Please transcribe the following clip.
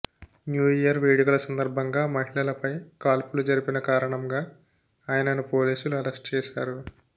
new year వేడుకల సందర్భంగా మహిళపై కాల్పులు జరిపిన కారణంగా ఆయనను పోలీసులు అరెస్ట్ చేశారు